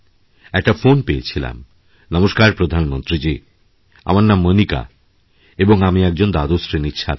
একটা ফোন পেয়েছিলাম নমস্কার প্রধানমন্ত্রীজী আমার নামমণিকা এবং আমি একজন দ্বাদশ শ্রেণির ছাত্রী